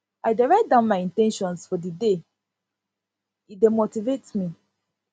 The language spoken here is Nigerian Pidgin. i dey write down my in ten tions for the day e dey motivate me